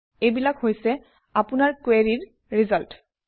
এইবিলাক হৈছে আপোনাৰ কুৱেৰিৰ ৰিজাল্ট